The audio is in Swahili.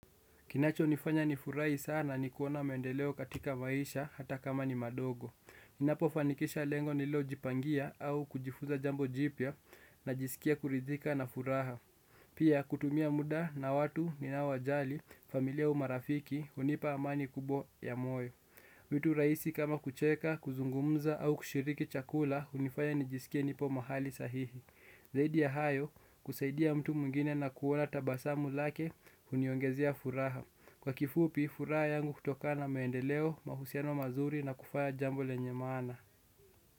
Kinacho nifanya nifurahi sana ni kuona maendeleo katika maisha hata kama ni madogo. Ninapo fanikisha lengo nililo jipangia au kujifunza jambo jipya na jisikia kuridhika na furaha. Pia kutumia muda na watu ni nao wajali, familia au marafiki, unipa amani kubwa ya moyo. Vitu rahisi kama kucheka, kuzungumza au kushiriki chakula, unifanya nijisikia nipo mahali sahihi. Zaidi ya hayo, kusaidia mtu mwingine na kuona tabasamu lake, uniongezia furaha. Kwa kifupi, furaha yangu hutokana maendeleo, mahusiano mazuri na kufanya jambo lenye maana.